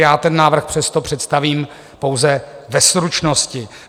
Já ten návrh přesto představím pouze ve stručnosti.